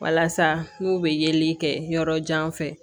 Walasa n'u bɛ yeli kɛ yɔrɔ jan fɛ